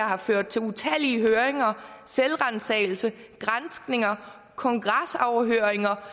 har ført til utallige høringer selvransagelse granskninger kongresafhøringer